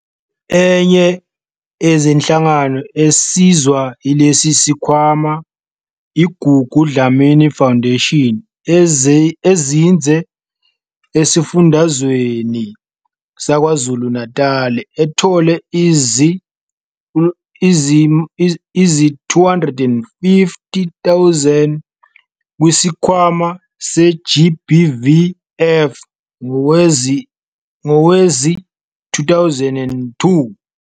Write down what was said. Enye yezinhlangano esizwa yilesi sikhwama i-Gugu Dlamini Foundation ezinze esifundazweni saKwaZulu-Natali, ethole izi-R250 000 kwiSikhwama se-GBVF ngowezi-2022.